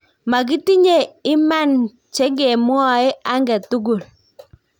Makitinye imanan chengemwae angetugul.